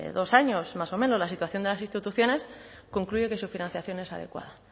dos años más o menos la situación de las instituciones concluye que su financiación es adecuada